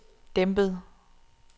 dæmpet